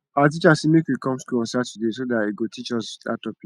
our teacher say make we come school on saturday so dat he go teach us dat topic